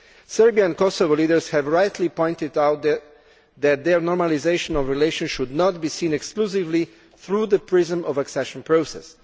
Serbian and Kosovan leaders have rightly pointed out that their normalisation of relations should not be seen exclusively through the prism of accession process.